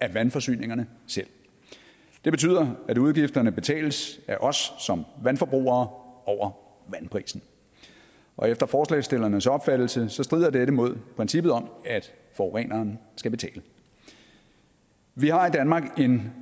af vandforsyningerne selv det betyder at udgifterne betales af os som vandforbrugere over vandprisen og efter forslagsstillernes opfattelse strider dette imod princippet om at forureneren skal betale vi har i danmark en